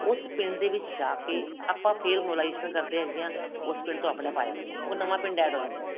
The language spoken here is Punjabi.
ਉਸ ਪਿੰਡ ਦੇ ਵਿੱਚ ਜਾ ਕੇ ਆਪਾਂ ਫ਼ੇਰ mobilization ਕਰਦੇ ਹੈਗੇ ਹਾਂ ਉਸ ਪਿੰਡ ਤੋਂ ਆਪਣੇ ਆਪ ਆ ਜਾਂਦੇ ਨੇ ਉਹ ਨਵਾਂ ਪਿੰਡ add ਹੋ ਜਾਂਦਾ